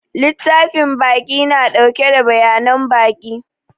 Littafin baƙi na ɗauke da bayanan baƙi.